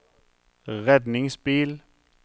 redningsbil